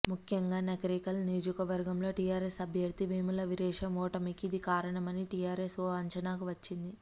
ముఖ్యంగా నకిరేకల్ నియోజకవర్గంలో టీఆర్ఎస్ అభ్యర్థి వేముల వీరేశం ఓటమికి ఇదే కారణమని టీఆర్ఎస్ ఓ అంచనాకు వచ్చింది